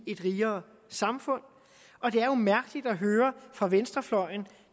et rigere samfund og det er jo mærkeligt at høre fra venstrefløjen at